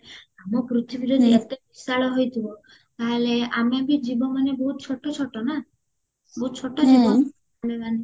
ଆମ ପୃଥିବୀରେ ଯେତେ ବିଶାଳ ହେଇଥିବା ତାହେଲେ ଆମେବି ଜୀବ ମାନେ ବହୁତ ଛୋଟ ଛୋଟ ନା ବହୁତ ଛୋଟ ଜୀବ ନା ଆମେ ମାନେ